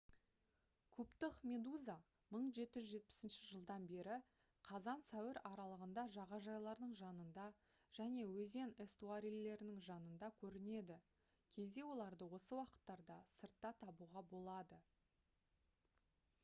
кубтық медуза 1770 жылдан бері қазан-сәуір аралығында жағажайлардың жанында және өзен эстуарийлерінің жанында көрінеді кейде оларды осы уақыттарда сыртта табуға болады